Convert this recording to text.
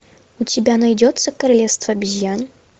у тебя найдется королевство обезьян